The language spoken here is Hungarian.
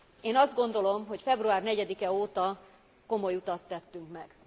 Én azt gondolom, hogy február 4 e óta komoly utat tettünk meg.